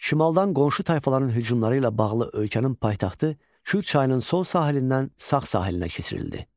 Şimaldan qonşu tayfaların hücumları ilə bağlı ölkənin paytaxtı Kür çayının sol sahilindən sağ sahilinə keçirildi.